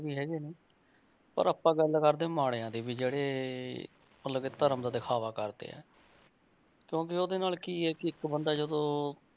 ਵੀ ਹੈਗੇ ਨੇ ਪਰ ਆਪਾਂ ਗੱਲ ਕਰਦੇ ਹਾਂ ਮਾੜਿਆਂ ਦੀ ਵੀ ਜਿਹੜੇ ਮਤਲਬ ਕਿ ਧਰਮ ਦਾ ਦਿਖਾਵਾ ਕਰਦੇ ਆ ਕਿਉਂਕਿ ਉਹਦੇ ਨਾਲ ਕੀ ਹੈ ਕਿ ਇੱਕ ਬੰਦਾ ਜਦੋਂ,